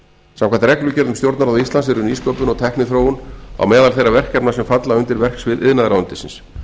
samkvæmt reglugerð um stjórnarráð ísland eru nýsköpun og tækniþróun á meðal þeirra verkefna sem falla undir verksvið iðnaðarráðuneytisins